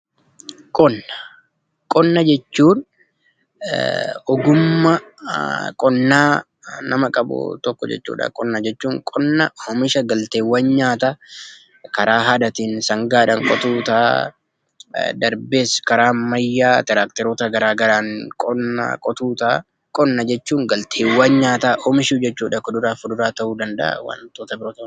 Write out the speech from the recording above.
Qonna jechuun ogummaa qonnaa nama qabu tokko jechuudha qonna jechuun. Qonna oomisha galteewwan nyaataa karaa aadaatiin sangaadhaan qotuun darbees karaa ammayyaa tiraaktaroota garaagaraa qonna qotuu ta'a. Qonna jechuun galteewwan nyaataa oomisha jechuudha kuduraa fi muduraa ta'uu danda'a.